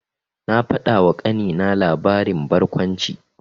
Na faɗawa ƙanina labarin barkwanci.